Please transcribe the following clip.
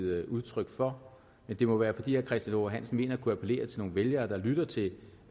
givet udtryk for det må være fordi herre christian h hansen mener at kunne appellere til nogle vælgere der lytter til